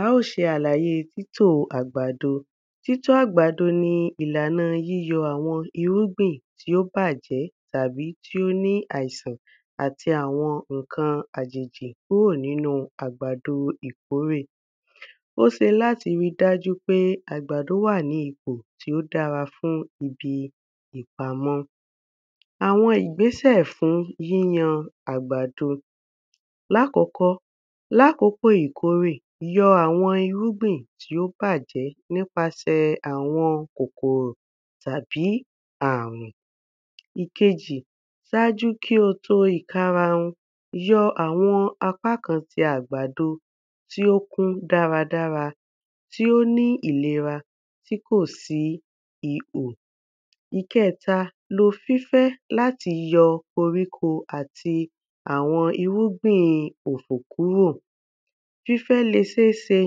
A ó ṣe àlàye ìlàna títò àgbàdo Títò àgbàdo ni ìlàna yíyọ àwọn irúgbìn tí ó bàjẹ́ tàbí tí ó ní àìsàn àti àwọn ǹkan àjèjì kúrò n’ínu àgbàdo ìkórè ó se l’áti ri dájú wí pé àgbàdo wà ní ipò fún ibi ìpamọ́ Àwọn ìgbésẹ̀ fún yíyan àgbàdo Lákọ́kọ́, lákókò ìkórè yọ àwọn irúgbìn tí ó bàjẹ́ n'ípasẹ̀ àwọn kòkòrò tàbí àrùn Ìkejì, sájú kí o to ìkarahun, yọ àwọn apá kan ti agbàdo tí ó kún dáradára, tí ó ni ìlera tí kò sí ihò Ìkẹta, lo fífẹ́ l’áti yọ koríko àti àwọn irúgbìn òfò kúrò Fífẹ́ le sése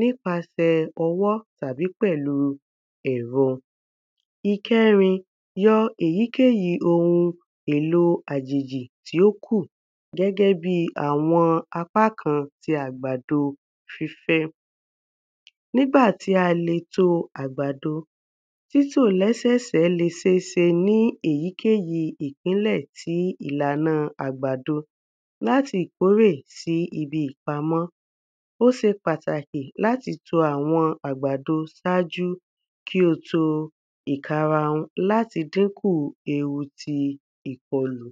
nípasẹ̀ ọwọ́ tàbí pẹ̀lú ẹ̀rọ. Ìkẹrin, yọ èyíkéyí ohun èlo àjèjì tí ó kù. gẹ́gẹ́ bi àwọn apá kan ti àgbàdo fífẹ́. N’ígbà ti a le to àgbàdo Títò lẹ́sẹ̀sẹ̀ le sése ní èyíkéyí ìpínlẹ̀ ti ìlàna àgbàdo L’áti ìkórè sí ibi ìpamọ́ ó se pàtàkì l’áti to àwọn àgbàdo sájú. Kí o to ìkarahun l’áti dínkù ewu ti ìkọ̀lù.